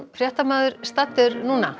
fréttamaður staddur